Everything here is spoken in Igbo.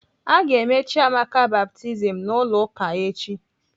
Aga eme Chiamaka baptizim n'ụlọ ụka echi.